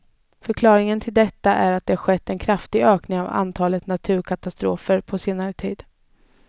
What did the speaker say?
Förklaringen till detta är att det har skett en kraftig ökning av antalet naturkatastrofer på senare tid.